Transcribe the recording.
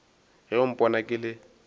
ge o mpona ke le